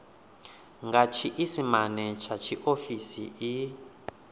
nga tshiisimane tsha tshiofisi i